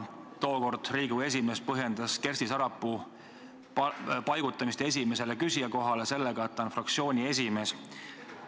Tookord Riigikogu esimees põhjendas Kersti Sarapuu paigutamist esimese küsija kohale sellega, et ta on fraktsiooni esimees.